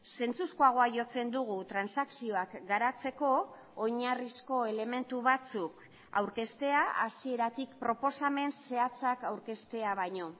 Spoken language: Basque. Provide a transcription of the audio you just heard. zentzuzkoagoa jotzen dugu transakzioak garatzeko oinarrizko elementu batzuk aurkeztea hasieratik proposamen zehatzak aurkeztea baino